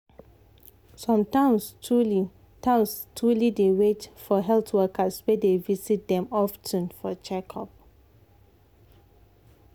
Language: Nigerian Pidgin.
some towns truly towns truly dey wait for health workers wey dey visit them of ten for checkup.